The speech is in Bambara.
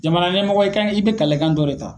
Jamana ɲɛmɔgɔ i kan, i bi kalekan dɔ de ta.